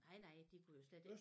Nej nej de kunne jo slet ikke